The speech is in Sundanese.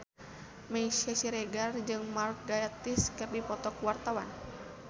Meisya Siregar jeung Mark Gatiss keur dipoto ku wartawan